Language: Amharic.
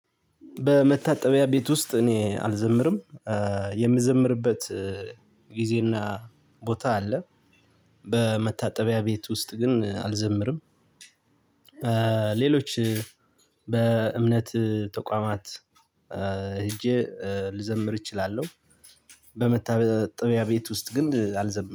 በመታጠቢያ ቤት ውስጥ እኔ አልዘምርም የምዘምርበት ጊዜና ቦታ አለ። በመታጠቢያ ቤት ውስጥ ግን አልዘምርም። ሌሎች በእምነት ተቋማት። ሄጄ ልዘምር እችላለሁ። በመታጠቢያ ቤት ውስጥ ግን አልዘምርም